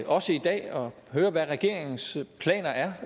også i dag høre hvad regeringens planer er